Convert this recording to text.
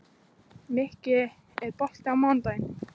Mikki, er bolti á mánudaginn?